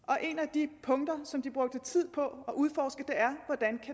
de punkter som de har brugt tid på